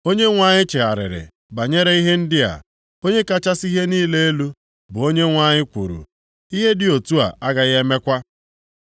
Onyenwe anyị chegharịrị banyere ihe ndị a. Onye kachasị ihe niile elu, bụ Onyenwe anyị kwuru, “Ihe dị otu a agaghị emekwa.”